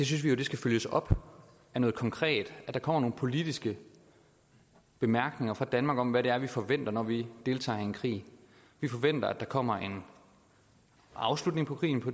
synes vi vi skal følges op af noget konkret at der kommer nogle politiske bemærkninger fra danmark om hvad vi forventer når vi deltager i en krig vi forventer at der kommer en afslutning på krigen